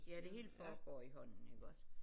Ja det hele foregår i hånden iggås